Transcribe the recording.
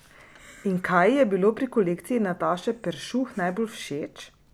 In kaj ji je bilo pri kolekciji Nataše Peršuh najbolj všeč?